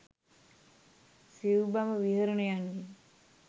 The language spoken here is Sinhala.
සිවු බඹ විහරණයන්ගෙන්